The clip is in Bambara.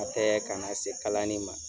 O tɛ ka na se kalani ma